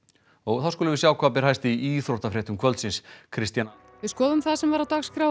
þá skulum við sjá hvað ber hæst í íþróttafréttum kvöldsins Kristjana við skoðum það sem var á dagskrá